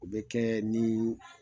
O bɛ kɛ nii